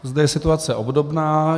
Zde je situace obdobná.